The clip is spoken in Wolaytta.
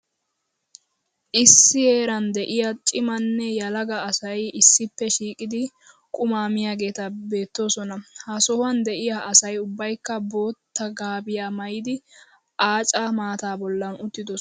Issi heeran de'iya cimanne yelaga asay issippe shiiqidi qummaa miyageeti beettoosona. Ha sohuwan de'iya asay ubbayikka bootta gaabiya maayidi aaca maataa bollan uttidosona.